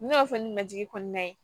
N'o y'a sɔrɔ ni ma jigi kɔnɔna ye